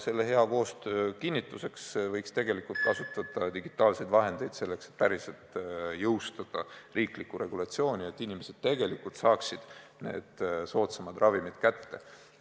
Selle hea koostöö kinnituseks võiks tegelikult kasutada digitaalseid vahendeid, selleks et päriselt jõustada riiklikku regulatsiooni, nii et inimesed tegelikult saaksid need soodsamad ravimid kätte.